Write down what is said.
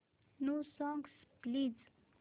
new songs please